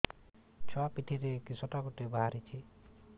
ଛୁଆ ପିଠିରେ କିଶଟା ଗୋଟେ ବାହାରିଛି